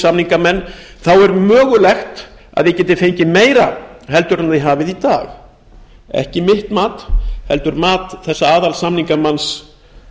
samningamenn þá væri mögulegt að við gætum fengið meira en við höfum í dag það er ekki mitt mat heldur mat þessa aðalsamningamanns